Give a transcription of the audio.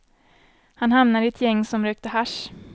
Han hamnade i ett gäng som rökte hasch.